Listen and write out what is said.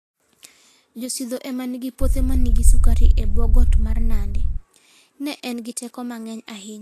Jo-Sidho ema nigi puothe ma nigi sukari e bwo got mar Nandi. Ne en gi teko mang'eny ahinya.